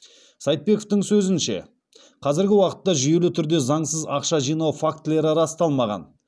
сайтбековтің сөзінше қазіргі уақытта жүйелі түрде заңсыз ақша жинау фактілері расталмаған